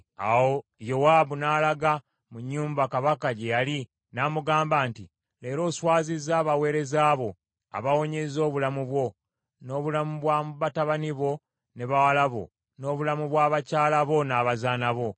Awo Yowaabu n’alaga mu nnyumba kabaka gye yali n’amugamba nti, “Leero oswazizza abaweereza bo, abawonyezza obulamu bwo, n’obulamu bwa batabani bo ne bawala bo, n’obulamu bwa bakyala bo n’abazaana bo.